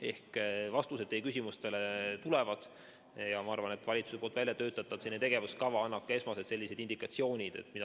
Ehk vastused teie küsimustele tulevad ja ma arvan, et valitsuse väljatöötatud tegevuskava annab ka esmased indikatsioonid.